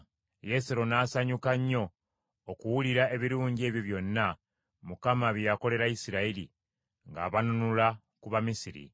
Yesero n’asanyuka nnyo okuwulira ebirungi ebyo byonna Mukama bye yakolera Isirayiri, ng’abanunula ku Bamisiri.